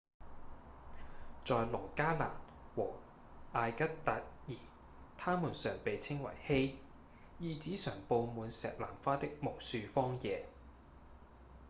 在羅加蘭和阿格德爾它們常被稱為「hei」意指常佈滿石南花的無樹荒野